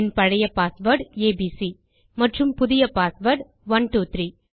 என் பழைய password ABC மற்றும் புதிய பாஸ்வேர்ட் 123